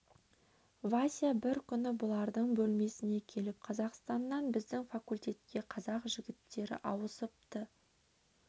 вася бір күні бұлардың бөлмесіне келіп қазақстаннан біздің факультетке қазақ жігіттері ауысыпты